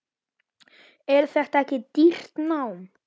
Er þetta ekki dýrt nám?